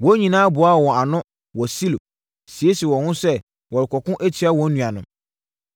wɔn nyinaa boaa wɔn ho ano wɔ Silo, siesiee wɔn ho sɛ wɔrekɔko atia wɔn nuanom.